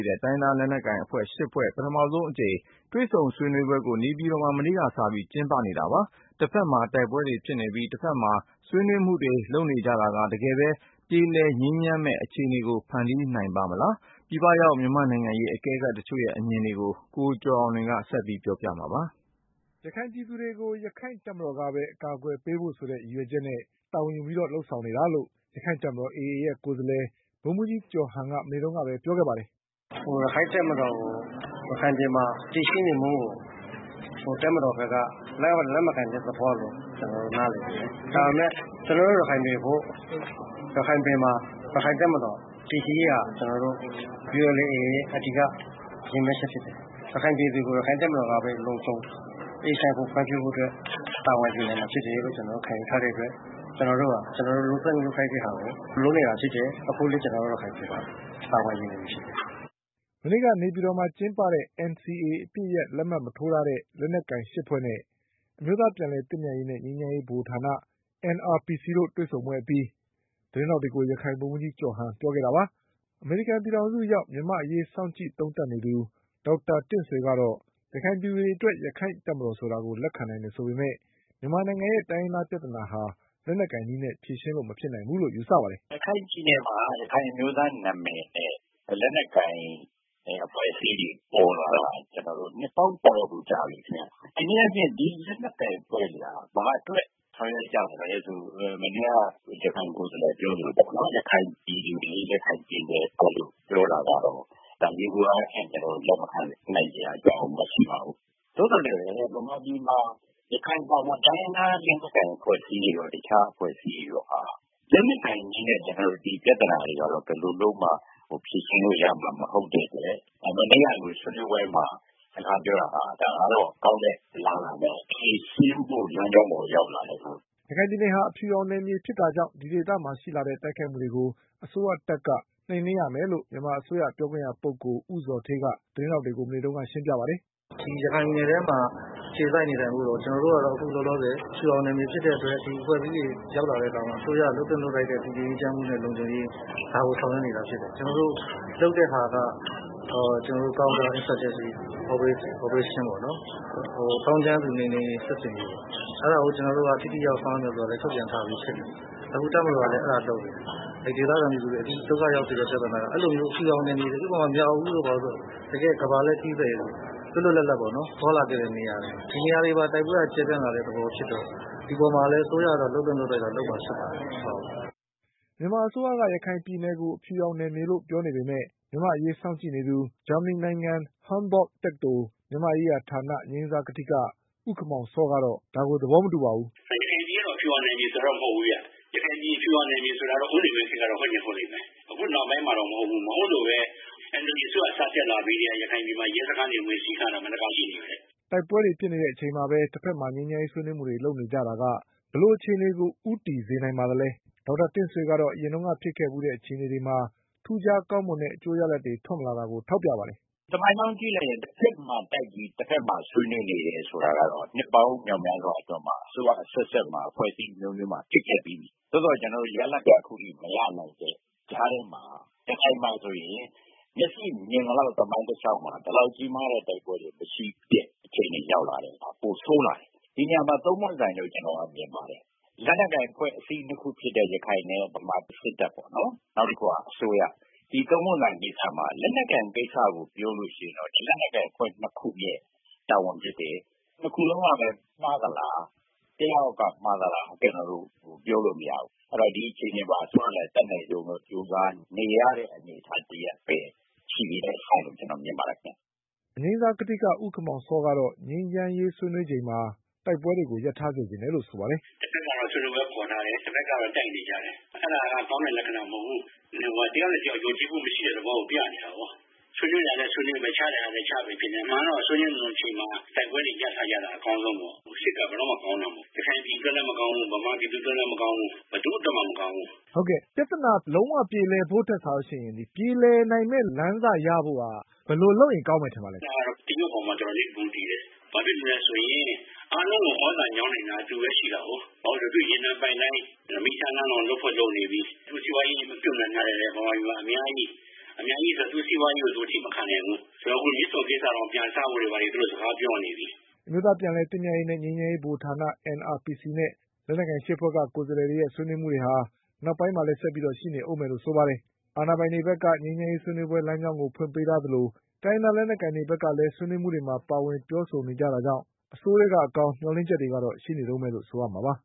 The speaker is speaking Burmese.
းတဲ့ တိုင်းရင်းသားလက်နက်ကိုင်အဖွဲ့ ၈ ဖွဲ့ ပထမဆုံးအကြိမ်တွေ့ဆုံဆွေးနွေးမှုကို နေပြည်တော်မှာ မနေ့က စပြီးကျင်းပနေပါတယ်။ တဖက်မှာတိုက်ပွဲတွေဖြစ်နေပြီး တဖက်မှာ ဆွေးနွေးမှုတွေလုပ်နေကြတာက တကယ်ပြေလည်ငြိမ်းချမ်းမယ့် အခြေအနေ ကိုဖန်တီးနိုင်ပါ့မလား။ ပြည်ပရောက်မြန်မာ့နိုင်ငံရေးအကဲခတ်တချို့အမြင်တွေကို ကိုကျော်အောင်လွင်က ဆက်ပြောပါမှာပါ။ ရခိုင်ပြည်သူတွေကို ရခိုင့်တပ်မတော်ကပဲ အကာအကွယ်ပေးဖို့ ဆိုတဲ့ ရည်ရွယ်ချက်နဲ့ တာဝန်ယူပြီး လုပ်ဆောင်နေတာလို့ ရခိုင့်တပ်မတော် AA ရဲ့ ကိုယ်စားလှယ် ဗိုလ်မှူးကြီးကျော်ဟန်က မနေ့ကပြောပါတယ်။ “ ရခိုင့်တပ်မတော်ကို ရခိုင်ပြည်မှာ တည်ရှိနေမှုကို တပ်မတော်ဘက်က လက်မခံတဲ့သဘောလို့ ကျနော်တို့ နားလည်တယ်။ ဒါပေမယ့် ကျနော်တို့ ရခိုင်တွေအဖို့ကတော့ ရခိုင်ပြည်မှာ ရခိုင့်တပ်မတော် တည်ရှိရေးဟာ အဓိက ရည်မှန်းချက်ဖြစ်တယ်။ ရခိုင်ပြည်သူကို ရခိုင့်တပ်မတော ်ကပဲ လုံခြုံ၊ အေးချမ်းဖို့ ဖွံ့ဖြိုးဖို့အတွက် တာဝန်ယူနိုင်မှာဖြစ်တယ်လို့ ကျနော်တို့ ခံယူထားတဲ့အတွက် ကျနော်တို့ဟာ လုပ်သင့်လုပ်ထိုက်တာကို လုပ်နေတာဖြစ်တယ်။ အခုလည်း ကျနော်တို့ ရခိုင်ပြည်နယ်မှာ တာဝန်ယူနေတာဖြစ်တယ်။ ” မနေ့က နေပြည်တော်မှာ ကျင်းပတဲ့ NCA အပစ်ရပ် လက်မှတ်မထိုးတဲ့ လက်နက်ကိုင် ၈ ဖွဲ့နဲ့ အမျိုးသားပြန်လည်သင့်မြတ်ရေးနဲ့ ငြိမ်းချမ်းရေးဗဟိုဌာန NRPC တို့ တွေ့ဆုံပွဲအပြီး သတင်းထောက်တွေကို ရခိုင်ဗိုလ်မှူးကြီးကျော်ဟန်ကပြောခဲ့တာပါ။ အမေရိကန်ပြည်ထောင်စုရောက် မြန်မာ့အရေးစောင့်ကြည့်သုံးသပ်နေသူ ဒေါက်တာတင့်ဆွေကတော့ ရခိုင်ပြည်သူ တွေအတွက် ရခိုင့်တပ်မတော်ဆိုတာကိုလက်ခံနိုင်တယ်ဆိုပေမယ့် မြန်မာနိုင်ငံရဲ့ တိုင်းရင်းသားပြဿနာဟာ လက်နက်ကိုင်နည်းနဲ့ဖြေရှင်းလို့ မဖြစ်နိုင်ဘူးလို့ယူဆပါတယ်။ “ရခိုင်ပြည်နယ်မှာ ရခိုင်အမျိုးသားနာမည်နဲ့ လက်နက်ကိုင်တဲ့အဖွဲ့အစည်းတွေ ပေါ်လာတာ ကျနော်တို့ နှစ်ပေါင်းတော်တော်ကြာပြီခင်ဗျ။ တနည်းအားဖြင့် ဒီလက်နက်ကိုင်အဖွဲ့တွေဟာ ဘာအတွက ဆောင်ရွက်ကြသလဲဆိုတာ မနေ့က ရခိုင်ကိုယ်စားလှယ်ပြောသလိုပေ့ါနော်။ ရခိုင်ပြည်သူတွေ ရခိုင်ပြည်နယ်အတွက်လို့ ပြောတာကတော့ ဒါက ယေဘုယျအားဖြင့် ကျနော်တို့ လက်မခံနိုင်စရာအကြောင်းမရှိပါဘူး။ သို့သော်လည်း မြန်မာပြည်မှာ ရခိုင်အပါအဝင် တိုင်းရင်းသားလက်နက်ကိုင်အဖွဲ့အစည်းတွေရော တခြားအဖွဲ့အစည်းတွေရောဟာ လက်နက်ကိုင်နည်းနဲ့ ဒီပြဿနာကို ဘယ်လိုမှ ဖြေရှင်းလို့ရမှာ မဟုတ်တဲ့အတွက် မနေ့ကလို ဆွေးနွေးပွဲမှာ စကားပြောတာက ဒါကတော့ ကောင်းတဲ့အလားအလာ ဖြေရှင်းဖို့ လမ်းကြောင်းပေါ်ကိုရောက်လာတာပါ။” ရခိုင်ပြည်နယ်ဟာ အဖြူရောင်နယ်မြေဖြစ်တာကြောင့် ဒီဒေသမှာရှိလာတဲ့ တိုက်ခိုက်မှုတွေကို အစိုးရတပ်က နှိမ်နင်းရမယ်လို့မြန်မာအစိုးရပြောခွင့်ရပုဂ္ဂိုလ ် ဦးဇော်ဌေးက သတင်းထောက်တွေကို မနေ့ကရှင်းပြပါတယ်။ “ကျနော်တို့ကတော့ အခုလောလောဆည် အဖြူရောင်နယ်မြေဖြစ်တဲ့အတွက် ရခိုင်ပြည်နယ်ထဲ ဒီအဖွဲ့အစည်းတွေ ရောက်လာတဲ့အခါမှာ အစိုးရက လုပ်သင့်လုပ်ထိုက်တဲ့ တည်ငြိမ်းအေးချမ်းမှုနဲ့ လုံခြုံရေး ဒါကိုဆောင်ရွက်နေတာဖြစ်တယ်။ ကျနော်တို့ လုပ်တာက ကောင်တာinsurgency operation ပေ့ါနော် သောင်းကျန်းသူ နှိမ်နှင်းရေး စစ်ဆင်ရေး။ အဲဒါကို ကျနော်တို့က ထိထိရောက်ရောက်ဆောင်ရွက်မယ် ဆိုတာလည်း ထုတ်ပြန်ထားပြီးဖြစ်တယ်။ အခုတပ်မတော်ကလည်း အဲဒါလုပ်နေတယ်။ ဒေသခံပြည်သူတွေ ဒုက္ခရောက်စေတဲ့ ပြဿနာက အဲဒီလိုမျိုး အဖြူရောင်နယ်မြေတွေ ဥပမာ -မြောက်ဦးတို့ ဘာတို့ဆိုရင် တကယ့် ကမ္ဘာလှည့်ခရီးသည်တွေ လွတ်လွတ်လပ်လပ်သွားလာသင့်တဲ့နေရာတွေ။ ဒီနေရာမှာ တိုက်ပွဲက ကျယ်ပြန့်လာတဲ့သဘောဖြစ်တော့ ဒီအပေါ်မှာလည်း အစိုးရကတော့ လုပ်သင့်လုပ်ထိုက်တာ လုပ်မှာ ဖြစ်ပါတယ်။” မြန်မာအစိုးရက ရခိုင်ပြည်နယ်ကို အဖြူရောင်နယ်မြေလို့ပြောနေပေမယ့်မြန်မာ့အရေး စောင့်ကြည့်နေသူ ဂျာမနီ နိုင်ငံ Humboldt တက္ကသိုလ် မြန်မာ့ရေးရာဌာန အငြိမ်းစား ကထိက ဦးခင်မောင်စော ကတော့ သဘောမတူပါဘူး။ “ရခိုင်ပြည်နယ်က အဖြူရောင်နယ်မြေဆိုတာကတော့ မဟုတ်ဘူးခင်ဗျ။ ရခိုင်ပြည် အဖြူရောင်နယ်မြေဆိုတာကတော့ ဦးနေဝင်း ခေတ်က ဟုတ်ရင် ဟုတ်လိမ့်မယ်။ အခုနောက်ပိုင်းမှာတော့ မဟုတ်ဘူး။ မဟုတ်လို့ပဲ NLD အစိုးရ စတက်လာကတည်းက ရခိုင်ပြည်နယ်မှာ ရဲစခန်းတွေ ဝင်စီးခံရတာ ဘယ်နှစ်ခါရှိနေပြီလဲ။” တိုက်ပွဲတွေဖြစ်နေတဲ့အချိန်မှာပဲ တဖက်မှာငြိမ်းချမ်းရေးဆွေးနွေးမှုတွေ လုပ်နေကြတာက ဘယ်လိုအခြေအနေကို ဦးတည်စေနိုင်ပါသလဲ။ ဒေါက်တာတင့်ဆွေကတော့ အရင်ကဖြစ်ခဲ့ဖူးတဲ့ အခြေအနေတွေမှာ ထူးခြားကောင်းမွန်တဲ့ အကျိုးရလဒ်တွေ ထွက်မလာတာကိုထောက်ပြပါတယ်။ “ သမိုင်းကြောင်းကြည့်လိုက်ရင် တဖက်မှာ တိုက်ပြီး ၊ တဖက်မှာ ဆွေးနွေးနေတယ်ဆိုတာကတော့ နှစ်ပေါင်းများစွာအတွင်း အစိုးရအဆက်ဆက်မှာ၊ အဖွဲ့အစည်းအမျိုးမျိုးမှာ ဖြစ်ခဲ့ပြီးပြီ။ သို့သော် ကျနော်တို့ ရလဒ်က အခုအထိမရနိုင်တဲ့ကြားမှာ ရခိုင်မှာဆိုရင် မျက်စိမြင်သလောက် သမိုင်းတလျှောက်မှာ ဒီလောက်ကြီးမားတဲ့ တိုက်ပွဲတွေဖြစ်တဲ့အခြေအနေတွေ ရောက်လာတယ်၊ ပိုဆိုးလာတယ်။ ဒီနေရာမှာ ၃ ပွင့်ဆိုင်လို့ ကျနော်မြင်ပါတယ်။ လက်နက်ကိုင် အဖွဲ့အစည်း ၂ ခုဖြစ်တဲ့ ရခိုင်နဲ့ စစ်တပ် နောက်ပြီးတော့ အစိုးရပေ့ါနော်။ ဒီ ၃ ပွင့်ဆိုင်ကိစ္စမှာ လက်နက်ကိုင်ကိစ္စကိုပြောရင် ဒီလက်နက်ကိုင် တပ်ဖွဲ့ ၂ ခုရဲ့ တာဝန်ဖြစ်တယ်။ ၂ ခုလုံးကလည်း မှားသလား၊ တယောက်ယောက်က မှားသလားဆိုတာ ကျနော်တို့ ပြောလို့မရဘူး ။ အဲတော့ ဒီအခြေအနေမှာ အစိုးရက အတတ်နိုင်ဆုံး ကြိုးစားနေရတဲ့ အနေအထားတရပ်လို့ ကျနော်မြင်ပါတယ်ခင်ဗျ။” အငြိမ်းစားကထိက ဦးခင်မောင်စောကတော့ ငြိမ်းချမ်းရေး ဆွေးနွေးချိန်မှာ တိုက်ပွဲတွေကို ရပ်ထား စေချင်တယ် လို့ဆိုပါတယ်။ “တဖက်ကတော့ ဆွေးနွေးပွဲခေါ်ထားတယ်၊ တဖက်ကတော့ တိုက်နေတယ်။ အဲဒါက ကောင်းတဲ့ လက္ခဏာမဟုတ်ဘူး။ တယောက်နဲ့တယောက် ယုံကြည်မှုမရှိတဲ့ သဘောကို ပြနေတာပေါ့။ ဆွေးနွေးတာလည်း ဆွေးနွေးမယ် ၊ ချတာလည်း ချနေမယ်ဆိုတာဖြစ်နေတယ်။ အမှန်ကတော့ ဆွေးနွေးနေတဲ့ အချိန်မှာ တိုက်ပွဲတွေရပ်ထားတာက အကောင်းဆုံးပေါ့။ စစ်က ဘယ်တော့မှ ကောင်းတာမဟုတ်ဘူး ရခိုင်ပြည်အတွက်လည်းမကောင်းဘူး ၊ မြန်မာပြည်အတွက်လည်း မကောင်းဘူး ဘယ်သူ့အတွက်မှ မကောင်းဘူး။ မေး။ ။ ပြဿနာ လုံးဝပြေလည်ဖို့ထက်စာရင် ပြေလည်နိုင်မယ့်လမ်းစရဖို့က ဘယ်လိုလုပ်ရင် ကောင်းမယ်ထင်ပါသလဲ။ ဖြေ။ ။ အဲဒါကတော့ တရုတ်အပေါ်မှာ တော်တော်လေးမူတည်တယ်။ ဘာဖြစ်လို့လဲဆိုရင် အားလုံးကို သြဇာညောင်းနိုင်တာ သူပဲ ရှိတာကို ။ ဘာဖြစ်လို့လဲဆိုတော့ သူ့ရေနံပိုက်လိုင်း ၊ မီးရထားလမ်းတွေ လုပ်ဖို့တောင်လုပ်နေပြီ တရုတ်စီးပွားရေးတွေကလည်း မြန်မာပြည်မှာ အများကြီး ၊ အများကြီးဆိုတော့ သူ့အကျိုးစီးပွားရေးကို အထိမခံနိုင်ဘူး။ အခုမြစ်ဆုံကိစ္စကို ပြန်စဖို့တွေလည်း သူတို့ စကားပြောနေပြီ။” အမျိုးသားပြန်လည်သင့်မြတ်ရေးနဲ့ငြိမ်းချမ်း ရေးဗဟိုဌာန NRPCနဲ့ လက်နက်ကိုင်၈ ဖွဲ့က ကိုယ်စားလှယ်တွေရဲ့ ဆွေးနွေးမှုတွေက နောက်ပိုင်းမှာလည်း ဆက်ပြီးရှိနေ ဦးမယ်လို့ဆိုပါတယ်။ အာဏာပိုင်တွေဘက်က ငြိမ်းချမ်းရေးဆွေးနွေးပွဲလမ်းကြောင်းကိုဖွင့်ပေးထားသလို တိုင်းရင်းသား လက်နက်ကိုင်တွေဘက်ကလည်း ဆွေးနွေးမှုတွေမှာပါဝင်ပြောဆိုနေကြတာကြောင့် အဆိုးထဲက အကောင်း မျှော်လင့်ချက်တွေကတော့ ရှိနေတုန်းပဲလို့ဆိုရမှာပါ